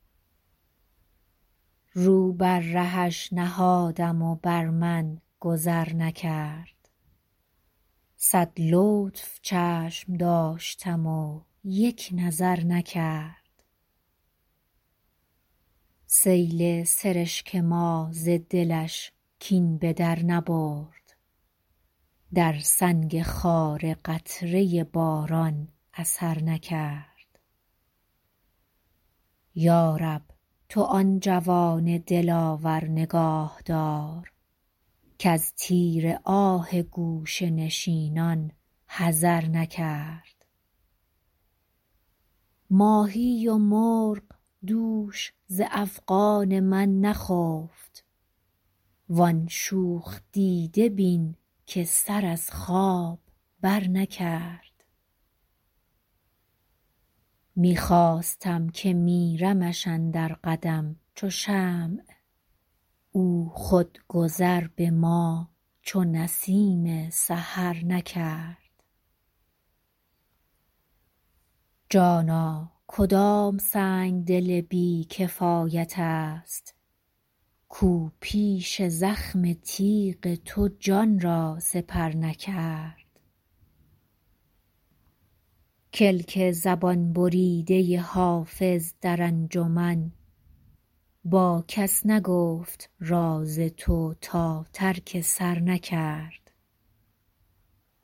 رو بر رهش نهادم و بر من گذر نکرد صد لطف چشم داشتم و یک نظر نکرد سیل سرشک ما ز دلش کین به در نبرد در سنگ خاره قطره باران اثر نکرد یا رب تو آن جوان دلاور نگاه دار کز تیر آه گوشه نشینان حذر نکرد ماهی و مرغ دوش ز افغان من نخفت وان شوخ دیده بین که سر از خواب برنکرد می خواستم که میرمش اندر قدم چو شمع او خود گذر به ما چو نسیم سحر نکرد جانا کدام سنگدل بی کفایت است کاو پیش زخم تیغ تو جان را سپر نکرد کلک زبان بریده حافظ در انجمن با کس نگفت راز تو تا ترک سر نکرد